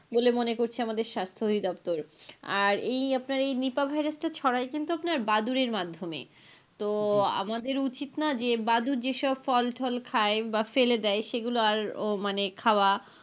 বলে মনে করছে আমাদের স্বাস্থ্য অধিদপ্তর, আর এই অপনার এই নিপা ভাইরাসটা ছড়াই কিন্তু আপনার বাদুড়ের মাধ্যমে তো আমাদের উচিত না যে বাদুর যেসব ফল-টল খায় বা ফেলে দেয় সেগুলো আরও মানে খাওয়া.